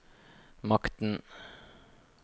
makten